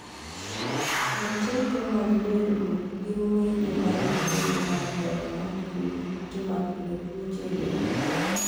roteke mag del go gin ng'injo marochere mar remo makedo gi kute makelo tuoche e del